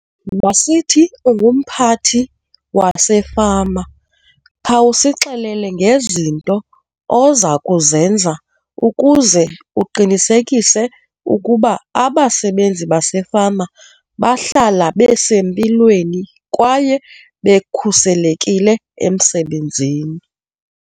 Masithi ungumphathi wasefama khawusixelele ngezinto oza kuzenza ukuze uqinisekise ukuba abasebenzi basefama bahlala besempilweni kwaye bekhuselekile emsebenzini.